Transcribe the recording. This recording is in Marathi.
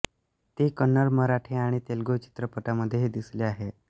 ती कन्नड मराठी आणि तेलगू चित्रपटांमध्येही दिसली आहे